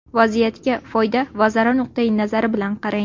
Vaziyatga foyda va zarar nuqtai nazari bilan qarang.